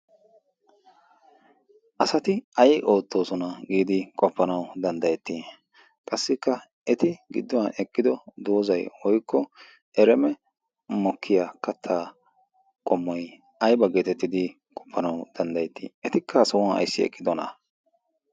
asati ai oottoosona giidi qappanau danddayettii qassikka eti gidduwan eqqido doozai oikko ereeme mokkiyaa kattaa qomoi aiba geetettidi qoppanawu danddayettii etikka hasa huwan ayssi eqqidona